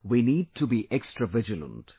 We need to be extra vigilant